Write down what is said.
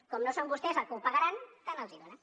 com que no són vostès qui ho pagaran tant els hi fa